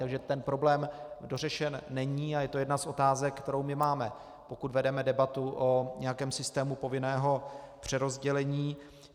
Takže ten problém dořešen není a je to jedna z otázek, kterou my máme, pokud vedeme debatu o nějakém systému povinného přerozdělení.